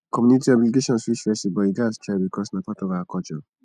community obligations fit stress you but you gats try bicos na part of our culture